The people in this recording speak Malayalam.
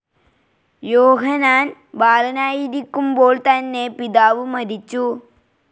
യോഹന്നാൻ ബാലനായിരിക്കുമ്പോൾ തന്നെ പിതാവ് മരിച്ചു.